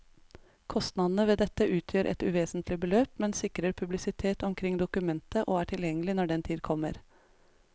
Kostnadene ved dette utgjør et uvesentlig beløp, men sikrer publisitet omkring dokumentet og er tilgjengelig når den tid kommer.